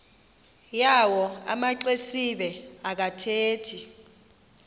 yawo amaxesibe akathethi